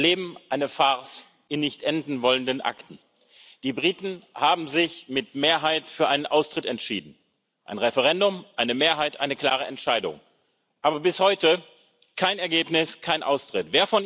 Wir erleben eine Farce in nicht enden wollenden Akten Die Briten haben sich mit Mehrheit für einen Austritt entschieden ein Referendum, eine Mehrheit, eine klare Entscheidung aber bis heute gibt es kein Ergebnis, keinen Austritt.